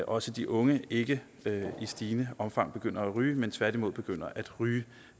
også de unge ikke i stigende omfang begynder at ryge men tværtimod begynder at ryge